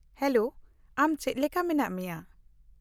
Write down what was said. -Hello, ᱟᱢ ᱪᱮᱫ ᱞᱮᱠᱟ ᱢᱮᱱᱟᱜ ᱢᱮᱭᱟ ?